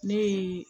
Ne ye